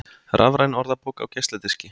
Rafræn orðabók á geisladiski